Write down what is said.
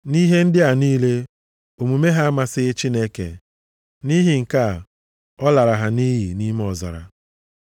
Nʼihe ndị a niile, omume ha amasịghị Chineke. Nʼihi nke a, ọ lara ha nʼiyi nʼime ọzara.